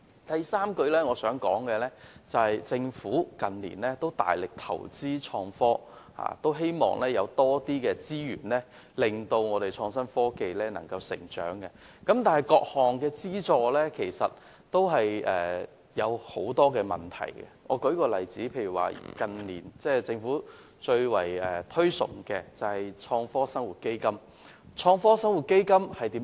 第三，政府近年大力投資創科，希望利用更多資源推動創新科技成長，但各項資助均存在很多問題，政府近年相當推崇的創科生活基金正是一例。